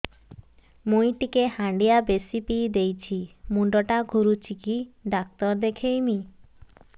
ମୁଇ ଟିକେ ହାଣ୍ଡିଆ ବେଶି ପିଇ ଦେଇଛି ମୁଣ୍ଡ ଟା ଘୁରୁଚି କି ଡାକ୍ତର ଦେଖେଇମି